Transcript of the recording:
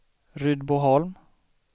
Rydboholm